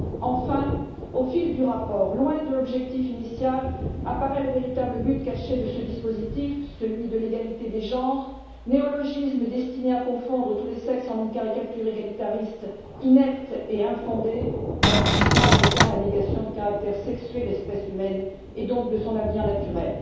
Enfin, au fil du rapport, loin de l'objectif initial, apparaît le véritable but caché de ce dispositif celui de l'égalité des genres, néologisme destiné à confondre tous les sexes en une caricature égalitariste inepte et infondée, l'aboutissement en étant la négation du caractère sexué de l'espèce humaine et donc de son avenir naturel.